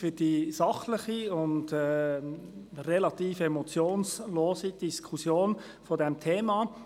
Danke für die sachliche und relativ emotionslose Diskussion dieses Themas.